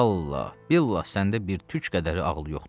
vallah-billah səndə bir tük qədər ağlı yoxdur.